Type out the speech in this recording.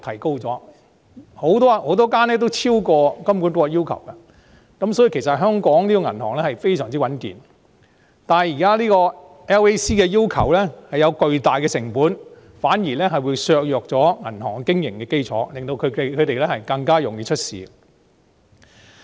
其實很多銀行已超過金管局的要求，所以香港的銀行非常穩健，但 LAC 的要求涉及巨大成本，反而削弱了銀行的經營基礎，使其更易出問題。